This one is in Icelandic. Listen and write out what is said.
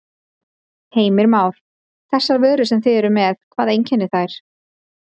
Heimir Már: Þessar vörur sem þið eruð með, hvað einkennir þær?